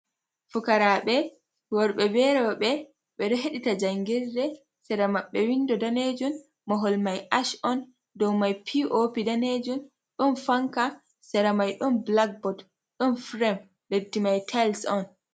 Fukaraɓe worɓe be roɓe ɓeɗo heɗita jangirɗe, sera maɓɓe windo danejun, mahol mai ash on, dow mai piopi danejun, ɗon fanka, sera mai ɗon blackbot, ɗon firem, leddi mai tayils on.